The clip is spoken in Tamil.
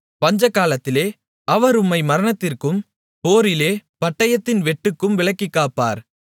பஞ்சகாலத்திலே அவர் உம்மை மரணத்திற்கும் போரிலே பட்டயத்தின் வெட்டுக்கும் விலக்கிக்காப்பார்